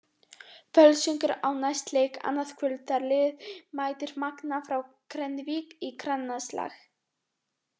Völsungur á næst leik annað kvöld þegar liðið mætir Magna frá Grenivík í grannaslag.